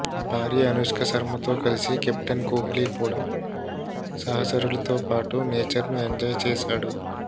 భార్య అనుష్క శర్మతో కలిసి కెప్టెన్ కోహ్లీ కూడా సహచరులతో పాటు నేచర్ను ఎంజాయ్ చేశాడు